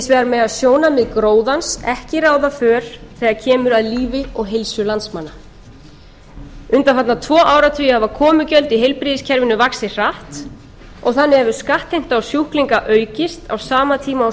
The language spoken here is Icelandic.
vegar mega sjónarmið gróðans ekki ráða för þegar kemur að lífi og heilsu landsmanna undanfarna tvo áratugi hafa komugjöld í heilbrigðiskerfinu vaxið hratt og þannig hefur skattheimta á sjúklinga aukist á sama tíma